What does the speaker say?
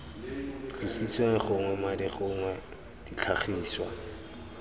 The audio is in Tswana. tlositsweng gognwe madi gongwe ditlhagiswa